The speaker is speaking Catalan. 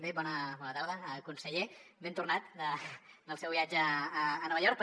bé bona tarda conseller ben tornat del seu viatge a nova york